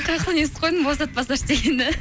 қаяқтан естіп қойдың босатпаса ше дегенді